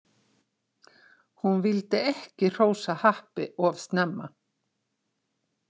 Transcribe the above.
Hún vildi ekki hrósa happi of snemma.